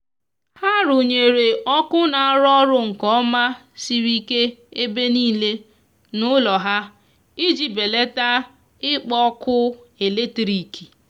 ha runyere ọkụ na arụ orụ nke oma siri ike ebe nile n'ulo ha iji belata ikpo ọkụ eletrikị